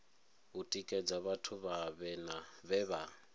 u tikedza vhathu vhe vha